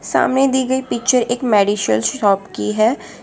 सामने दी गई पिक्चर एक मेडिसियल शॉप की है।